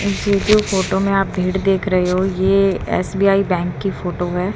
ये जो फोटो में आप भीड़ देख रहे हो ये एस_बी_आई बैंक की फोटो है।